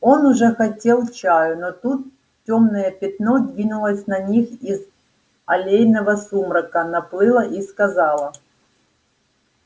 он уже хотел чаю но тут тёмное пятно двинулось на них из аллейного сумрака наплыло и сказало